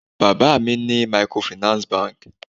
Bàbá mi ni microfinance banki